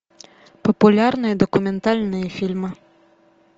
популярные документальные фильмы